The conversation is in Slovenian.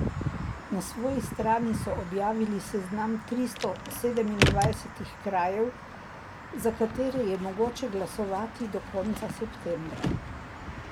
Na svoji strani so objavili seznam tristo sedemindvajsetih krajev, za katere je mogoče glasovati do konca septembra.